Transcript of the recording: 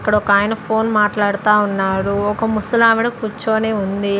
ఇక్కడ ఒకాయన ఫోన్ మాట్లాడతా ఉన్నాడు ఒక ముసలావిడ కుర్చోని ఉంది.